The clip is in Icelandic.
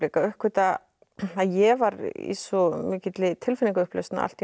uppgötva að ég var í svo mikilli tilfinningaupplausn að allt í einu